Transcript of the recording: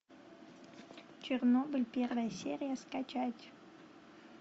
чернобыль первая серия скачать